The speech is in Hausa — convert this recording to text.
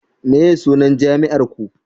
meye sunan jami'ar Ku